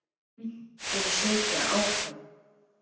Muntu sitja áfram?